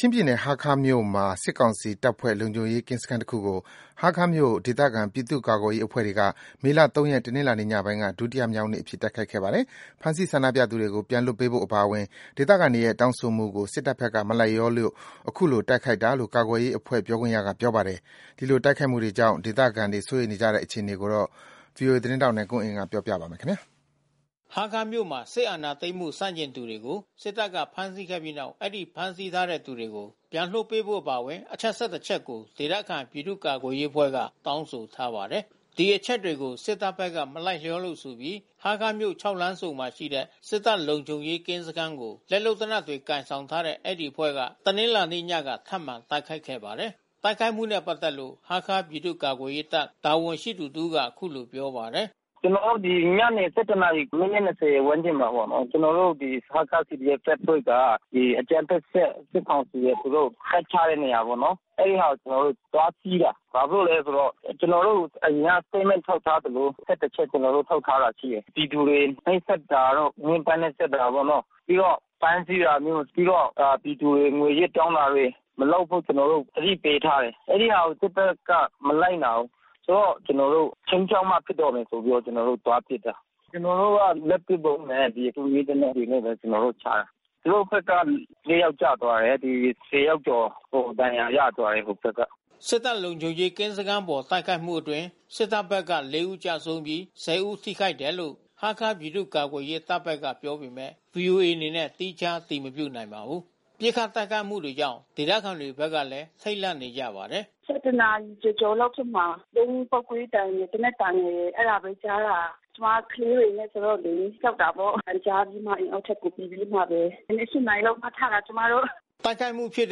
ချင်းပြည်နယ် ဟားခါးမြို့မှာ စစ်ကောင်စီတပ်ဖွဲ့ လုံခြုံရေးကင်းစခန်းတခုကို ဟားခါးမြို့ ဒေသခံပြည်သူ့ ကာကွယ်ရေး အဖွဲ့တွေက မေလ ၃ ရက် တနင်္လာနေ့ ညပိုင်းက ဒုတိယမြောက်နေ့အဖြစ် တိုက်ခိုက်ခဲ့ပါတယ်။ ဖမ်းဆီးဆန္ဒပြသူတွေကို ပြန်လွှတ်ပေးဖို့ အပါအဝင် ဒေသခံတွေရဲ့တောင်းဆိုမှုကို စစ်တပ်ဘက်က မလိုက်လျောလို့ ခုလို ပစ်ခတ် တိုက်ခိုက်တာလို့ ကာကွယ်ရေးအဖွဲ့ပြောခွင့်ရကပြောပါတယ်။ ခုလို တိုက်ခိုက်မှုတွေကြောင့် ဒေသခံတွေ စိုးရိမ်နေကြတဲ့ အခြေအနေကို ဗွီအိုအေသတင်းထောက်နိုင်ကွန်းအိန်ကနေ သတင်းပေးပို့ထားပါတယ်။ ဟားခါးမြို့မှာ စစ်အာဏာသိမ်းမှု ဆန့်ကျင်သူတွေကို စစ်တပ်က ဖမ်းဆီးခဲ့ပြီးနောက် အဲဒီ ဖမ်းဆီးထားသူတွေကို ပြန်လွှတ်ပေးဖို့ အပါအဝင် အချက် ၁၁ ချက်ကို ဒေသခံပြည်သူ့ကာကွယ်ရေးအဖွဲ့က တောင်းဆိုထားပါတယ်။ ဒီအချက်တွေကို စစ်တပ်ဘက်က မလိုက်လျောလို့ဆိုပြီး ဟားခါးမြို့ ၆ လမ်းဆုံမှာရှိတဲ့ စစ်တပ်လုံခြုံရေးကင်းစခန်းကို လက်လုပ်လက်နက်တွေ ကိုင်ဆောင်ထားတဲ့ အဲဒီအဖွဲ့က တနင်္လာနေ့ညက ထပ်မံတိုက်ခိုက်ခဲ့ပါတယ်။ တိုက်ခိုက်မှုနဲ့ ပတ်သက်လို့ ဟားခါးပြည်သူ့ ကာကွယ်ရေးတပ် တာဝန်ရှိသူ တစ်ဦးကအခုလိုပြောပါတယ်။ "ကျနော်တို့ ညနေ ၁၁ နာရီ မိနစ် ၂၀ ဝန်းကျင်မှာပေါ့နော်။ ကျနော်တို့ ဒီဟားခါး CDF တပ်ဖွဲ့က ဒီအကြမ်းဖက်အဖွဲ့ စစ်ကောင်စီ သူတို့ တပ်ချတဲ့နေရာပေါ့နော်။ အဲဒီဟာကို ကျနော်တို့ သွားစီးတာ။ ဘာဖြစ်လို့လဲဆိုတော့ ကျနော်တို့ အရင်က Statement ထုတ်ထားသလို ၁၁ ချက် ကျနော်တို့ ထုတ်ထားတာ ရှိတယ်။ ပြည်သူတွေ နှိပ်စက်တာတို့။ ညှဉ်းပန်းနှိပ်စက်တာပေါ့နော်။ ပြီးတော့ ဖမ်းဆီးတာမျိုး၊ ပြီးတော့ပြည်သူတွေ ငွေရစ်တောင်းတာတွေ မလုပ်ဖို့ ကျနော်တို့ သတိပေးထားတယ်။ အဲဒီဟာကို စစ်တပ်က မလိုက်နာဘူး။ ဆိုတော့ ကျနော်တို့ ခြိမ်းခြောက်မှဖြစ်တော့မယ်ဆိုပြီးတော့ ကျနော်တို့ သွားပစ်တာ။ ကျနော်တို့ လက်ပစ်ဗုံးနဲ့ တူမီးသေနတ်တွနဲ့ ကျနော်တို့ ချတာ။ သူတို့ဘက်က ၄ ယောက်ကျသွားတယ်။ ၁၀ ယောက်ကျော်ဒဏ်ရာ ရသွားတယ်ဟိုဘက်က။" စစ်တပ်လုံခြုံရေးကင်းစခန်းအပေါ် တိုက်ခိုက်မှုအတွင်း စစ်တပ်ဘက်က ၄ ဦး ကျဆုံးပြီး ၁၀ ဦး ထိခိုက်တယ်လို့ ဟားခါးပြည်သူ့ကာကွယ်ရေးတပ်ဘက်က ပြောပေမဲ့ ဗွီအိုအေ အနေနဲ့ သီးခြား အတည်မပြုနိုင်ပါဘူး။ ပစ်ခတ်တိုက်ခိုက်မှုတွေကြောင့် ဒေသခံတွေဘက်လည်း ထိတ်လန့်နေကြပါတယ်။ "၁၁ နာရီကျော်ကျော်လာက်ဖြစ်မှာ။ ဗုံးပေါက်ကွဲသံ သေနတ်သံတွေကြားရတယ်။ ကျမ ကလေးတွေနဲ့ဆိုတော့လေ ကြောက်တာပေါ့။ အသံကြားပြီးမှ အိမ်အောက်ထပ်ကို ဝင်ပြီးမှပဲ။ မနက် ၈ နာရီလောက်မှာ ထတာ ကျမတို့။" တိုက်ခိုက်မှုဖြစ်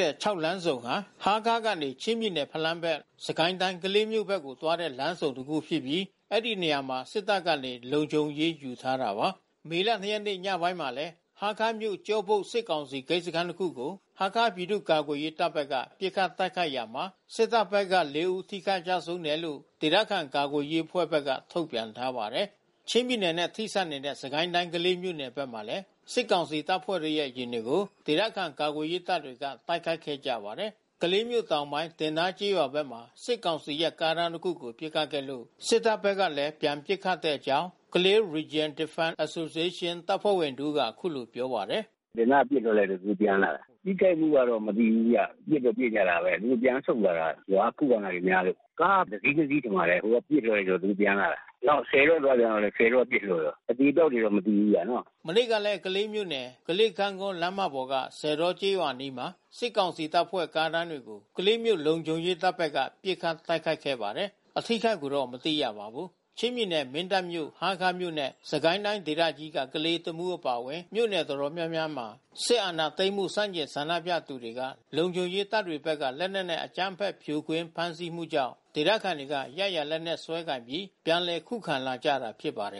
တဲ့ ၆ လမ်းဆုံဟာ ဟားခါးကနေ ချင်းပြည်နယ် ဖလမ်းဘက်၊ စစ်ကိုင်းတိုင်း ကလေးမြို့ဘက်ကို သွားတဲ့ လမ်းဆုံတခု ဖြစ်ပြီး အဲဒီနေရာမှာ စစ်တပ်ကနေ လုံခြုံရေး ယူထားတာပါ။ မေလ ၂ ရက်နေ့ ညပိုင်းမှာလည်း ဟားခါးမြို့ ကျောဘုတ် စစ်ကောင်စီဂိတ်စခန်း တခုကို ဟားခါးပြည်သူ့ ကာကွယ်ရေး တပ်ဘက်က ပစ်ခတ်တိုက်ခိုက်ရာမှာ စစ်တပ်ဘက်က ၄ ဦးထိခိုက်ကျဆုံးတယ်လို့ ဒေသခံကာကွယ်ရေးအဖွဲ့ဘက်က ထုတ်ပြန်ထားပါတယ်။ ချင်းပြည်နယ်နဲ့ ဆက်စပ်နေတဲ့ စစ်ကိုင်းတိုင်း ကလေးမြို့နယ်ဘက်မှာလည်း စစ်ကောင်စီတပ်ဖွဲ့ရဲ့ယာဉ်တွေကို ဒေသခံ ကာကွယ်ရေးအဖွဲ့တွေက တိုက်ခိုက်ခဲ့ကြပါတယ်။ ကလေးမြို့တောင်ပိုင်း တင်သားကျေးရွာဘက်မှာ စစ်ကောင်စီရဲ့ကားတန်းတခုကို ပစ်ခတ်ခဲ့လို့ စစ်တပ်ဘက်ကလည်း ပြန်ပစ်ခတ်တဲ့အကြောင်း Kalay Region Defense Association တပ်ဖွဲ့ဝင်တဦးက ခုလိုပြောပါတယ်။ "စစ်သားက ပစ်လိုက်လို့ အခုပြန်လာတာ။ ထိခိုက်မှုကတော့ မသိဘူးဗျ။ ပစ်တော့ ပစ်ကြတာပဲ အခုပြန်ဆုတ်လာတာ။ ရွာက ခုခံတာတွေများလို့။ ကားကတစီး နှစ်စီးထင်ပါတယ်။ ဟိုက ပစ်လိုက်တော့ သူတို့ပြန်လာတာ။ နောက် ဆည်တောသွားပြန်တာ့လည်း ဆည်တောက ပစ်လိုက်တာ။ အသေအပျောက်တွေတော့ မသိဘုူးဗျနော်။" မနေ့ကလည်း ကလေးမြို့နယ်၊ ပေါ်က ဆည်တောကျေးရွာအနီး မှာ စစ်ကောင်စီတပ်ဖွဲ့ ကားတန်းတွေကို ကလေးမြို့ လုံခြုံရေးတပ်ဘက်က ပစ်ခတ်တိုက်ခိုက်ခဲ့ပါတယ်။ အထိအခိုက်တော့ မသိရပါဘူး။ ချင်းပြည်နယ် မင်းတပ်မြို့၊ ဟားခါးမြို့နဲ့ စစ်ကိုင်းတိုင်းဒေသကြီးက ကလေး၊ တမူးအပါအဝင် မြို့နယ်တော်တော်များများမှာ စစ်အာဏာသိမ်းမှု ဆန့်ကျင်ဆန္ဒပြသူတွေက လုံခြုံရေး တပ်တွေဘက်က လက်နက်နဲ့ အကြမ်းဖက် ဖြိုခွင်းဖမ်းဆီးမှုကြောင့် ဒေသခံတွေက ရရာလက်နက်ကိုင်စွဲပြီး ပြန်လည်ခုခံလာကြတာဖြစ်ပါတယ်